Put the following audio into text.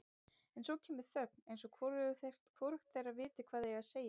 En svo kemur þögn eins og hvorugt þeirra viti hvað eigi að segja.